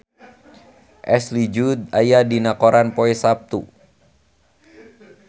Ashley Judd aya dina koran poe Saptu